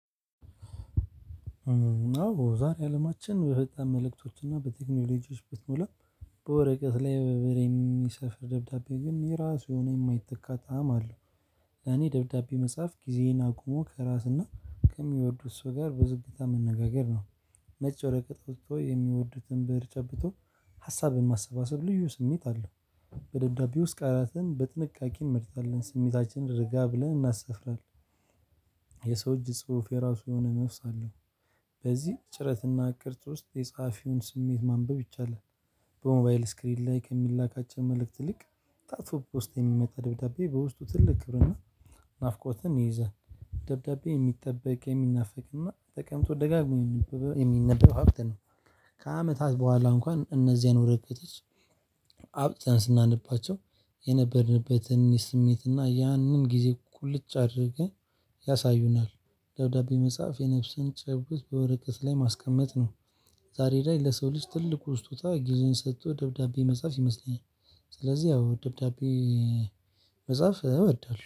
እና ዛሬ አለማችን በፈጣን መልእክቶችና በቴክኖሎጂዎች ብትሞላ በወረቀት ላይ በብእር የሚሰፍር ደብዳቤ ግን የራሱ የሆነ የማይተካት ጣዕም አለው። ለኔ ደብዳቤ መጽሐፍ ጊዜዬን አቁሞ ከራስና ከሚወዱት ሰው ጋር ብዙጊታ መነጋገር ነው። ነጭ ወረቀት ወይ የሚወዱትን ብእር ጨብጦ ሀሳብን ማሰባሰብ ልዩ ስሜት አለው። በደብዳቤ ውስጥ ቃላትን በጥንቃቄ እንመርጣለን ስሜታችንን ርጋ ብለን እናሰፍራለን። የሰው እጅ ጽሁፍ የራሱ የሆነ ነፍስ አለው። በዚህ ጭረትና ቅርጽ ውስጥ የጸሀፊውን ስሜት ማንበብ ይቻላል። በሞባይል ስክሪን ላይ ከሚላካቸው መልእክት ልክ ታጥፎ ፖስታ የሚመጣ ደብዳቤ በውስጡ ትልቅ ብዕርና ናፍቆትን ይይዛል። ደብዳቤ የሚጠበቅ የሚናፈቅ እና ተቀምጦ ደጋግሞ የሚነበብ ሀብት ነው። ከአመታት በኋላ እንኳን እነዚህን ወረቀቶች አውጥተን ስናነባቸው የነበርንበትን የስሜትና ያንን ጊዜ ቁልጭ አድርገን ያሳዩናል። ደብዳቤ መጽሐፍ የነፍስን ጭብጥ በወረቀት ላይ ማስቀመጥ ነው። ዛሬ ላይ ለሰው ልጅ ትልቁ ስጦታ ጊዜን ሰጥቶ ደብዳቤ መጽሐፍ ይመስለኛል። ስለዚህ አዎ ደብዳቤ መጻፍ እወዳለሁ